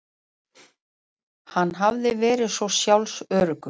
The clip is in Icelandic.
Hann hafði verið svo sjálfsöruggur.